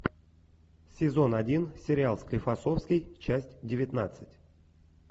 сезон один сериал склифосовский часть девятнадцать